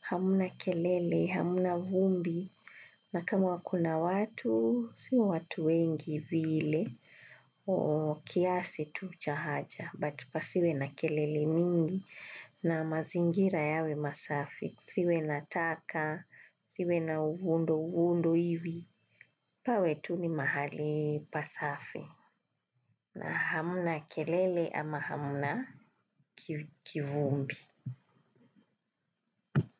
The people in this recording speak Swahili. hamna kelele, hamna vumbi, na kama kuna watu, sio watu wengi vile, kiasi tu cha haja. But pasiwe na kelele mingi na mazingira yawe masafi, siwe na taka, siwe na uvundo uvundo hivi, pawe tu ni mahali pasafi na hamna kelele ama hamna kivumbi.